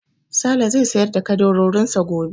Sale zai sayar da ƙaddarorin sa gobe.